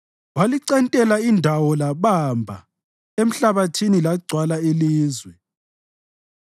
walicentela indawo labamba emhlabathini lagcwala ilizwe.